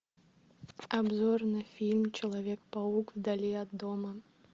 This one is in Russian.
обзор на фильм человек паук вдали от дома